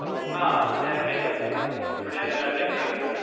હાં, બ્રેક હતો. હમણાં થોડી વાર પેહલા બ્રેક પડ્યો તો.